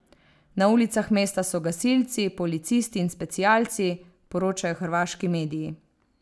Na ulicah mesta so gasilci, policisti in specialci, poročajo hrvaški mediji.